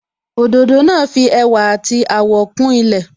Òdòdó náà fi ẹwà àti àwọ̀ kún ilẹ̀